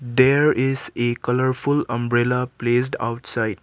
there is a colourful umbrella placed outside.